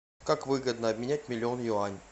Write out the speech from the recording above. как выгодно обменять миллион юань